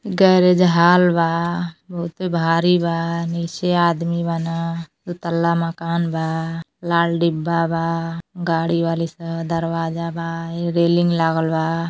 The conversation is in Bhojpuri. गैरेज हॉल बा बहुते भारी बा। नीचे आदमी बाड़न दुतल्ला मकान बा लाल डिब्बा बा। गाड़ी बाड़ी स- दरवाजा बा। रेलिंग लागल बा।